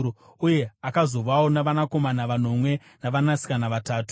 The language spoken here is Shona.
Uye akazovawo navanakomana vanomwe navanasikana vatatu.